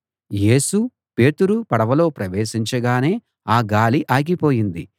యేసు పేతురు పడవలో ప్రవేశించగానే ఆ గాలి ఆగిపోయింది